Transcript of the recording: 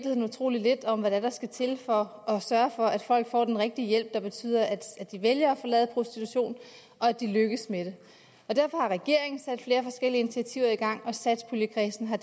ved utrolig lidt om hvad det er der skal til for at sørge for at folk får den rigtige hjælp der betyder at de vælger at forlade prostitution og at de lykkes med det derfor har regeringen sat flere forskellige initiativer i gang og satspuljekredsen har